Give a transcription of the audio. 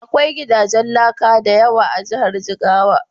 Akwai gidajen laka da yawa a Jihar Jigawa.